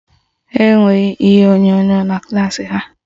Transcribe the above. Ha enweghị ihe onyonyo na klaasị ha